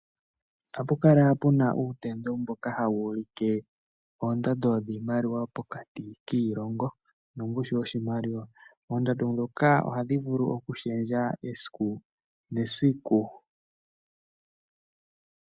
Ohapu kala pu na uufano mboka hawu ulike oondando dhiimaliwa pokati kiilongo nongushu yoshimaliwa. Oondando ndhoka ohadhi vulu oku shendja esiku nesiku.